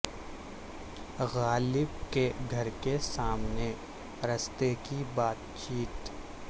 غالب کے گھر کے سامنے رشتے کی بات چیت